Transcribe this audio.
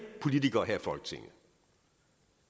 politikere her i folketinget